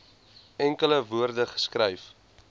enkele woorde geskryf